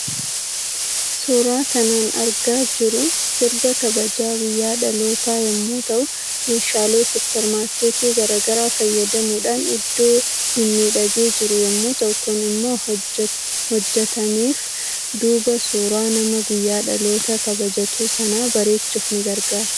Suuraa kanan argaa jiru sirna kabaja guyya dhaloota yommuu ta'uu meeshaalee suupermaarkeetii garaa garaa fayyamuudhaan iddo mimmiidhagee jiru yommuu ta'u Kun immo kan hojjetameef duuba suuraa nama guyyaa dhaloota kabajatu sana bareechuuf ni gargaara.